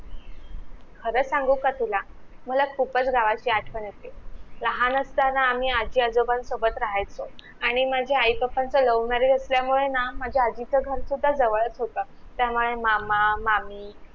अग सांगू का तुला, मला खूपच गावाची आठवण येते लहान असताना आम्ही आजी आजोबांन सोबत रहायचो आणि माझ्या आई papa च love marriage असलयामुळे ना माझ्या आजीच घर सुद्धा जवळच होत त्यामुळे मामा मामी